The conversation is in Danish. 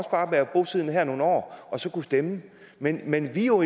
bare være bosiddende her nogle år og så stemme men men vi er jo